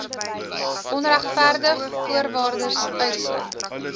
onregverdig voorwaardes uitsluit